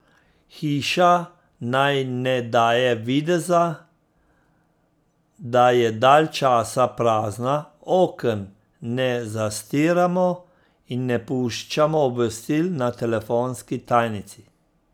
Hiša naj ne daje videza, da je dalj časa prazna, oken ne zastiramo in ne puščamo obvestil na telefonski tajnici.